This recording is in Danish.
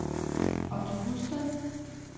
Otto Husted